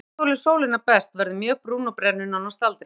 Gerð sex þolir sólina best, verður mjög brún og brennur nánast aldrei.